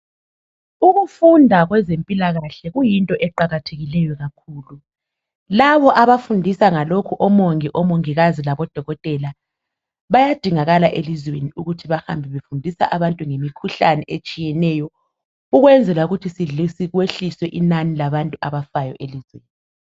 Ukufunda kwezempilakahle kuyinto eqakathekileyo kakhulu. Labo abafundisa ngalokho omongikazi labodokotela bayadingakala elizweni ukuthi bahambe befundisa abantu ngemikhuhlane etshiyeneyo ukwenzela ukuthi kwehliswe inani labantu abafayo elizweni.